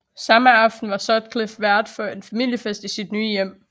Samme aften var Sutcliffe vært for en familiefest i sit nye hjem